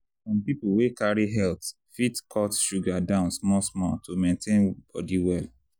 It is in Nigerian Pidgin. some people wey carry health fit cut sugar down small small to maintain body well.